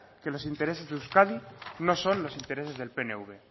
que los intereses de euskadi no son los intereses del pnv